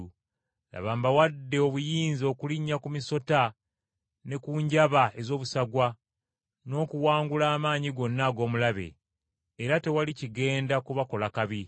Laba mbawadde obuyinza okulinnya ku misota ne ku njaba ez’obusagwa n’okuwangula amaanyi gonna ag’omulabe. Era tewali kigenda kubakola kabi.